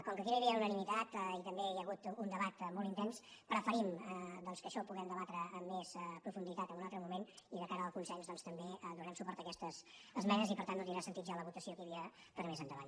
com que aquí no hi havia unanimitat i també hi ha hagut un debat molt intens preferim que això ho puguem debatre amb més profunditat en un altre moment i de cara al consens doncs també donarem suport a aquestes esmenes i per tant no tindrà sentit ja la votació que hi havia per a més endavant